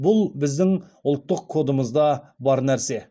бұл біздің ұлттық кодымызда бар нәрсе